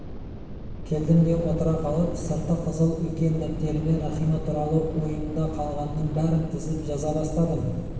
келдім де отыра қалып сырты қызыл үлкен дәптеріме рахима туралы ойымда калғанның бәрін тізіп жаза бастадым